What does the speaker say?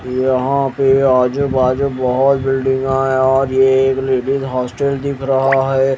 यहां पे आजू बाजू बहोत बिल्डिंगा और ये एक लेडिस हॉस्टल दिख रहा है।